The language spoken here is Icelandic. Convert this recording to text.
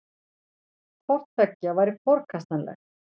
Hvort tveggja væri forkastanlegt